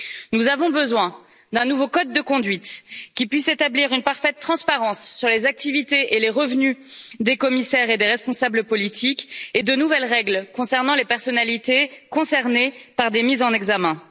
Nous avons besoin d'un nouveau code de conduite qui puisse établir une parfaite transparence sur les activités et les revenus des commissaires et des responsables politiques et de nouvelles règles concernant les personnalités concernées par des mises en examen.